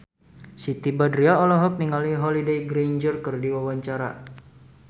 Siti Badriah olohok ningali Holliday Grainger keur diwawancara